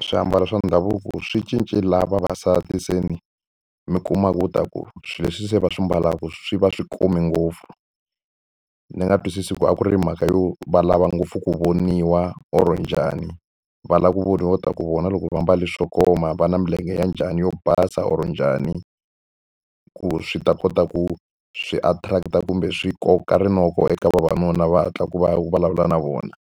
Swiambalo swa ndhavuko swi cince laha vavasati se ni mi kuma leswaku swilo leswi se va swi ambalaka swi va swi kume ngopfu. Ni nga twisisi ku a ku ri mhaka yo va lava ngopfu ku voniwa or njhani, va lava ku voniwa leswaku vona loko va ambale swo koma va na milenge ya njhani yo basa or njhani. Ku swi ta kota ku swi attract-a kumbe swi koka rinoko eka vavanuna va hatla ku va vulavula na vona.